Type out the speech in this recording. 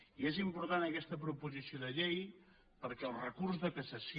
i és important aquesta proposició de llei perquè el recurs de cassació